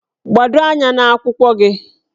Gbado anya n'akwụkwọ gị!